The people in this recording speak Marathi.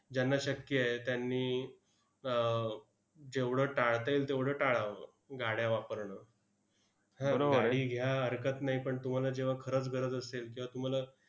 ज्यांना शक्य आहे, त्यांनी आह जेवढं टाळता येईल, तेवढं टाळावं गाड्या वापरणं. गाडी घ्या, हरकत नाही, पण तुम्हाला जेव्हा खरंच गरज असेल, तेव्हा तुम्हाला